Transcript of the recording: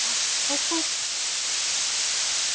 Vatn og kók.